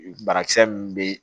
Banakisɛ min bɛ yen